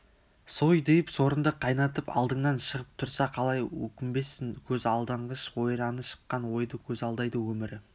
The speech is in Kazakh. сойдиып сорыңды қайнатып алдыңнан шығып тұрса қалай өкінбессің көз алданғыш ойраны шыққан ойды көз алдайды өмірі